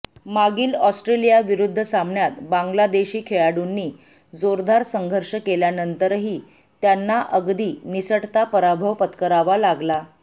मागील ऑस्ट्रेलियाविरुद्ध सामन्यात बांगलादेशी खेळाडूंनी जोरदार संघर्ष केल्यानंतरही त्यांना अगदी निसटता पराभव पत्करावा लागला